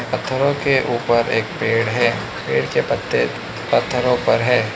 पत्थरों के ऊपर एक पेड़ है पेड़ के पत्ते पत्थरों पर है।